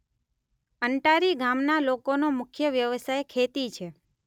અંટારી ગામના લોકોનો મુખ્ય વ્યવસાય ખેતી છે.